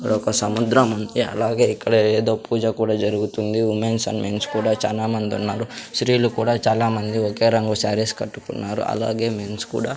ఒక సముద్రం ఉంది అలాగే ఇక్కడ ఏదో పూజ కూడా జరుగుతుంది ఉమెన్స్ అండ్ మెన్స్ కూడా చాలామంది ఉన్నారు స్త్రీలు కూడా చాలామంది ఒకే రంగు శారీస్ కట్టుకున్నారు అలాగే మెన్స్ కూడా.